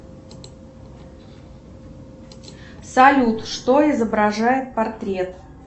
салют что изображает портрет